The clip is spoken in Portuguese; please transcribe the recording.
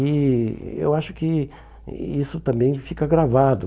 E eu acho que isso também fica gravado.